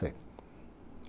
Sei.